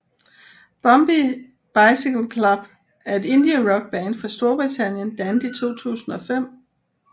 Bombay Bicycle Club er et indierockband fra Storbritannien dannet i 2005